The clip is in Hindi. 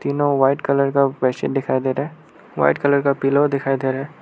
व्हाइट कलर का बेडशीट दिखाई दे रहा है वाइट कलर का पिलो दिखाई दे रहा है।